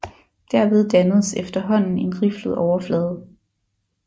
Derved dannedes efterhånden en riflet overflade